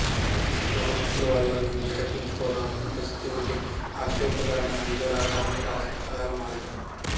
అప్పులు తీసుకోవడం అప్పులవాళ్ల నుంచి తప్పించుకోవడం అప్పుల ప్రశస్తి వంటి హాస్యస్ఫోరకమైన అంశాల ఆధారంగా రాసిన కథలమాలిక